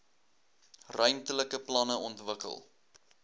ruimtelike planne ontwikkel